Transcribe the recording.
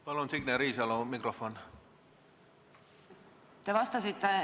Palun Signe Riisalole mikrofoni!